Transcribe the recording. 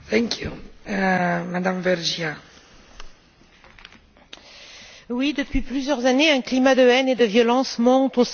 Madame la Présidente, oui, depuis plusieurs années, un climat de haine et de violence monte au sein de l'Union européenne.